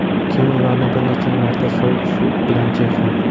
Keyin ularni bir necha marta sovuq suv bilan chayqang.